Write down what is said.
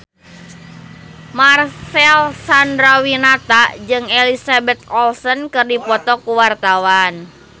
Marcel Chandrawinata jeung Elizabeth Olsen keur dipoto ku wartawan